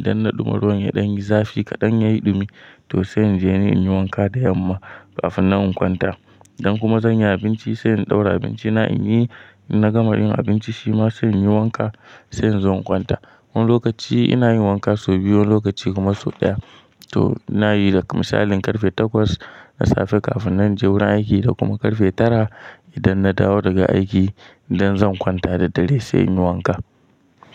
Idan na ɗuma ruwan yaɗan yayi zafi kaɗan yayi ɗumi to sai in je ni in yi wanka da yamma kafin nan in kwanta. Idan kuma zan yi abinci sai in ɗaura abinci na in yi. Na gama yin abinci shima sai in yi wanka sai in zo in kwanta. Wani lokaci ina yin wanka sau biyu wani lokaci kuma sau ɗaya. To ina yi da misalin karfe takwas na safe kafin na je wurin aiki da kuma karfe tara idan na dawo daga aiki idan zan kwanta da dare sai in yi wanka.